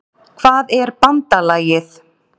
Hvað er BANDALAGIÐ?